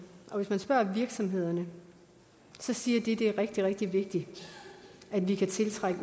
og hvis man spørger virksomhederne siger de at det er rigtig rigtig vigtigt at vi kan tiltrække